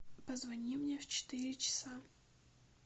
позвони мне в четыре часа